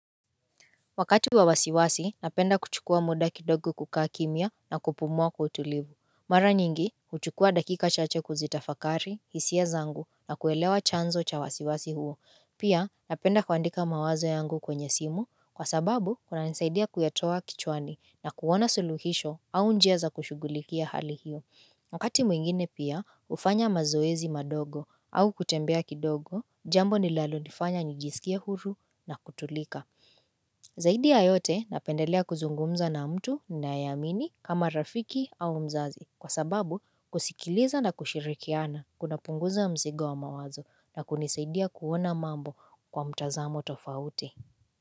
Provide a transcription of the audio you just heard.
Wakati wawasiwasi, napenda kuchukua muda kidogo kukaa kimya na kupumua kwa utulivu. Mara nyingi, huchukua dakika chache kuzitafakari, hisia zangu na kuelewa chanzo cha wasiwasi huo. Pia, napenda kuandika mawazo yangu kwenye simu, kwa sababu, kunanisaidia kuyatoa kichwani na kuona suluhisho au njia za kushugulikia hali hiyo. Wakati mwingine pia, hufanya mazoezi madogo au kutembea kidogo, jambo nilalo nifanya nijisikie huru na kutulika. Zaidi ya yote napendelea kuzungumza na mtu ninayeamini kama rafiki au mzazi kwa sababu kusikiliza na kushirikiana kunapunguza mzigo wa mawazo na kunisaidia kuona mambo kwa mtazamo tofauti.